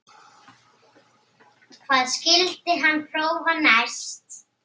Hvað skyldi hann prófa næst?